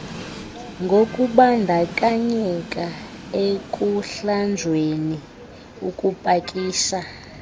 ngokubandakanyeka ekuhlanjweni ukupakisha